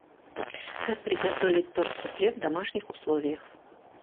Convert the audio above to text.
как приготовить торт суфле в домашних условиях